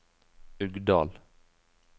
Uggdal